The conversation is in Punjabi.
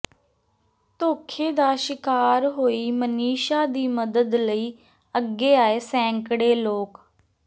ਧੋਖੇ ਦਾ ਸ਼ਿਕਾਰ ਹੋਈ ਮਨੀਸ਼ਾ ਦੀ ਮਦਦ ਲਈ ਅੱਗੇ ਆਏ ਸੈਂਕੜੇ ਲੋਕ